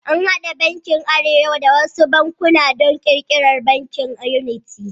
An haɗe bankin arewa da wasu bankuna don ƙirƙirar Bankin yuniti.